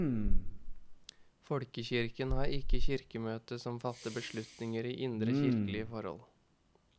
Folkekirken har ikke kirkemøte som fatter beslutninger i indre kirkelige forhold.